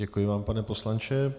Děkuji vám, pane poslanče.